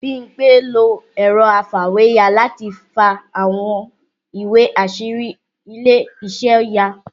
Bímpé lo ẹ̀rọ afàwéya láti fa àwọn ìwé àṣírí ilé iṣẹ́ ya